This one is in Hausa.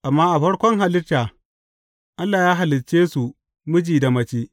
Amma a farkon halitta, Allah ya halicce su miji da mace.’